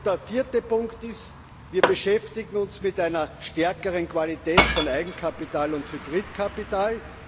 Der vierte Punkt ist Wir beschäftigen uns mit einer stärkeren Qualität von Eigenkapital und Hybridkapital.